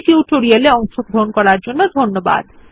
এই টিউটোরিয়ালে অংশগ্রহন করার জন্য ধন্যবাদ